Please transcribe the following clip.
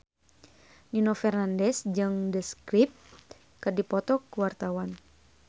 Nino Fernandez jeung The Script keur dipoto ku wartawan